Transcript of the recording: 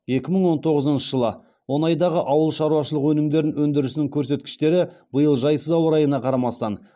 екі мың он тоғызыншы жылы он айдағы ауыл шаруашылығы өнімдерін өндірісінің көрсеткіштері биыл жайсыз ауа райына қарамастан